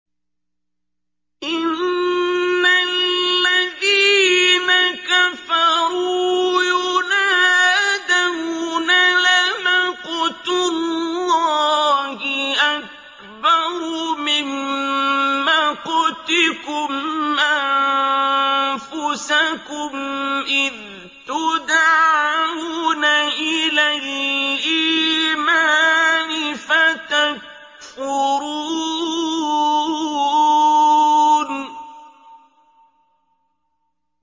إِنَّ الَّذِينَ كَفَرُوا يُنَادَوْنَ لَمَقْتُ اللَّهِ أَكْبَرُ مِن مَّقْتِكُمْ أَنفُسَكُمْ إِذْ تُدْعَوْنَ إِلَى الْإِيمَانِ فَتَكْفُرُونَ